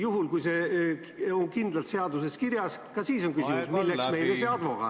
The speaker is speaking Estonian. Juhul, kui see on kindlalt seaduses kirjas, ka siis on küsimus, milleks meile see advokaat.